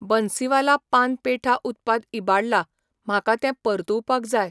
बन्सीवाला पान पेठा उत्पाद इबाडला, म्हाका तें परतुवपाक जाय.